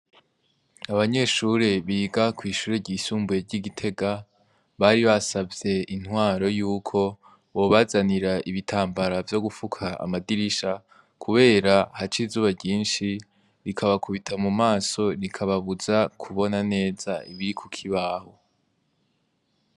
Abanyeshure biga kw'ishure ryisumbuye ry'i Gitega bari basavye intwaro yuko bobazanira ibitambara vyo gufuka amadirisha kubera haca izuba ryinshi rikabakubita mu maso rikababuza kubona neza no ku kibaho.